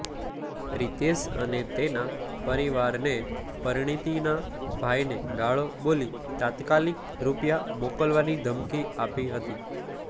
રિતેશ અને તેના પરિવારે પરિણીતાના ભાઇને ગાળો બોલી તાત્કાલીક રૂપિયા મોકલાવાની ધમકી આપી હતી